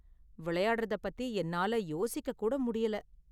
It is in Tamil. விளையாடுறத பத்தி என்னால யோசிக்க கூட முடியல.